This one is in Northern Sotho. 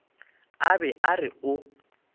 a be a re o